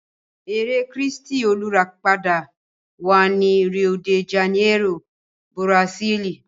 Ère kírístì olùràpadà wà ní Rio de Janeiro, Bùràsílì.